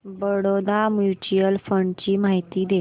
Baroda mutual fund ची माहिती दे